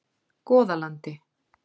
Goðalandi